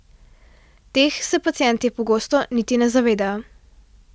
Teh se pacienti pogosto niti ne zavedajo.